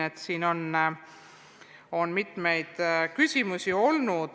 Ütlesin, et siin on mitmeid küsimusi olnud.